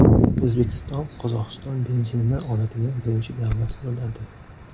O‘zbekiston Qozog‘iston benzinini oladigan birinchi davlat bo‘ladi.